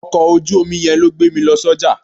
Ọkọ̀ ojú omi yẹn ló gbé mi lọ sọ́jà.